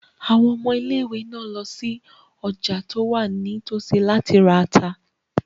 Àwọn ọmọ ilé-ìwé náà lọ sí ọjà tí ó wà ní tòsí láti ra ata.